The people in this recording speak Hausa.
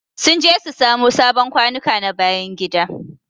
Sun je su samo sabon kwanuka na bayan gida.